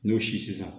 N'o si sisan